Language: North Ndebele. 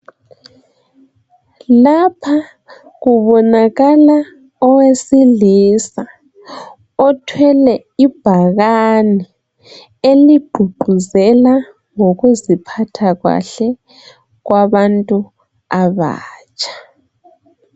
Lapha kubonakala owesilisa othwele ibhakane eligqugquzela ngokuziphatha kahle kwabantu abatsha.